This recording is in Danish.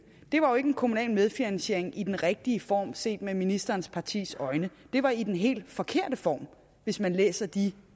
var en kommunal medfinansiering i den rigtige form set med ministerens partis øjne det var i den helt forkerte form hvis man læser de